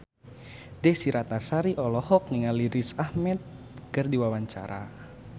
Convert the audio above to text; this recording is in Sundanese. Desy Ratnasari olohok ningali Riz Ahmed keur diwawancara